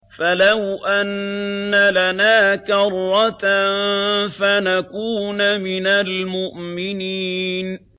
فَلَوْ أَنَّ لَنَا كَرَّةً فَنَكُونَ مِنَ الْمُؤْمِنِينَ